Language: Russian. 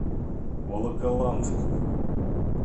волоколамску